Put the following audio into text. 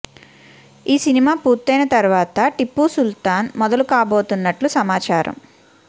ఈ సినిమా పూర్తయిన తర్వాత టిప్పు సుల్తాన్ మొదలు కాబోతున్నట్లు సమాచారం